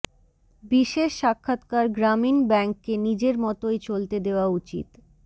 বিশেষ সাক্ষাৎকার গ্রামীণ ব্যাংককে নিজের মতোই চলতে দেওয়া উচিত